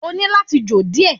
O ní láti jò díẹ̀